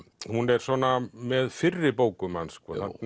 hún er svona með fyrri bókum hans